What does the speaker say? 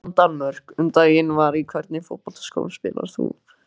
Á Ísland-Danmörk um daginn bara Í hvernig fótboltaskóm spilar þú?